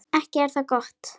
Ekki er það gott!